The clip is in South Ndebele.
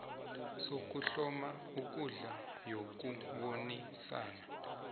sokuhloma ikundla yokubonisana